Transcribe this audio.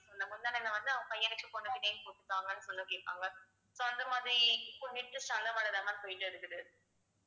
முந்தானைல வந்து அவங்க பையனுக்கும் பொண்ணுக்கும் name போட்டு தாங்கன்னு சொல்ல கேட்பாங்க so அந்த மாதிரி இப்போ latest அ அந்த model தான் ma'am போயிட்டே இருக்குது